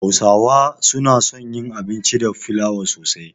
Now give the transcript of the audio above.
Hausawa suna son yin abinci da fliawa sosai.